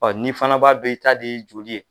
Ɔn ni fana b'a dɔn i ta de ye joli ye